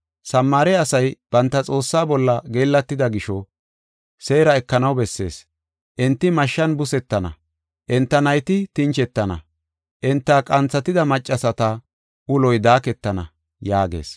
Samaare asay banta Xoossaa bolla geellatida gisho, seera ekanaw bessees. Enti mashshan busetana; enta nayti tinchetana; enta qanthatida maccasata uloy daaketana” yaagees.